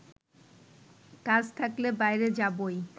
কাজ থাকলে বাইরে যাবই